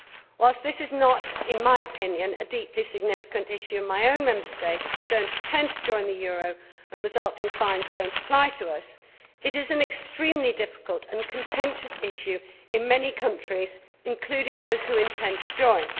Whilst this is not, in my opinion, a deeply significant issue in my own Member State as we do not intend to join the euro and resulting fines do not apply to us it is an extremely difficult and contentious issue in many countries, including those who intend to join.